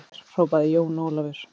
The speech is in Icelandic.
Heima hjá mér, hrópaði Jón Ólafur.